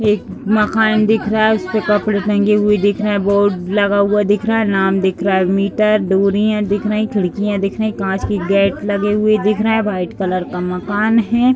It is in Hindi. एक मकान दिख रहा है। इसपे कपड़े टंगे हुऐ दिख रहे हैं बोर्ड लगा हुआ दिख रहा है नाम दिख रहा है मीटर डोरियाँ दिख रही हैं खिड़कियाॅं दिख रही कांच की गेट लगे हुऐ दिख रहे हैं वाइट कलर का मकान है।